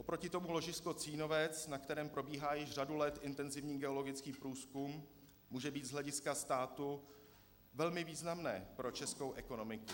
Oproti tomu ložisko Cínovec, na kterém probíhá již řadu let intenzivní geologický průzkum, může být z hlediska státu velmi významné pro českou ekonomiku.